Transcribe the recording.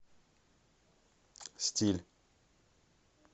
стиль